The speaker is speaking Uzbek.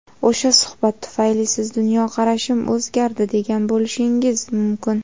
O‘sha suhbat tufayli siz "Dunyoqarashim o‘zgardi" degan bo‘lishingiz mumkin.